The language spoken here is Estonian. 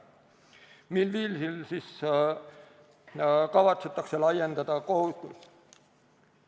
Mil viisil siis kavatsetakse laiendada kohustust?